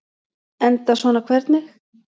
Enda svona hvernig?